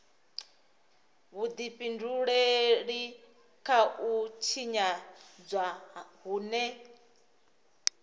vhudifhinduleli kha u tshinyadzwa hune